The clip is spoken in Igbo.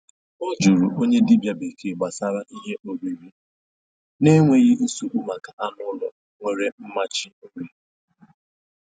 Ọ jụrụ onye dibia bekee gbasara ihe oriri na enweghị nsogbu maka anụ ụlọ nwere mmachi nri.